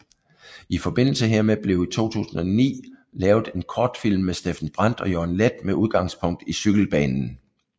I forbindelse hermed blev i 2009 lavet en kortfilm med Steffen Brandt og Jørgen Leth med udgangspunkt i cykelbanen